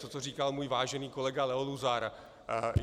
To, co říkal můj vážený kolega Leo Luzar.